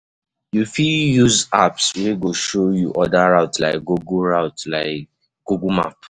You fit use apps wey go show you oda routes like google routes like google map